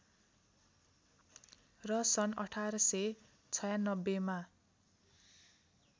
र सन् १८९६ मा